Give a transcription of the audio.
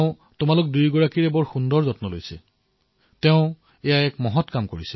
আপোনালৈ থাকিল অশেষ শুভকামনা